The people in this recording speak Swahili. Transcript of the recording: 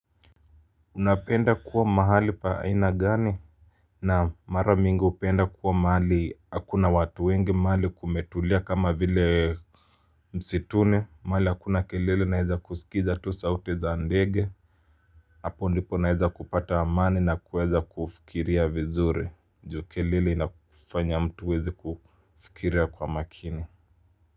Unapenda kuwa mahali pa aina gani? Naam, mara mingi hupenda kuwa mahali, hakuna watu wengi, mahali kumetulia kama vile msituni, mahali hakuna kelele naweza kusikiza tu sauti za ndege, Hapo ndipo naeza kupata amani na kuweza kufikiria vizuri, juu kelele inafanya mtu hawezi kufikiria kwa makini.